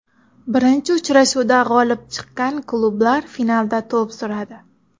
Birinchi uchrashuvda g‘olib chiqqan klublar finalda to‘p suradi.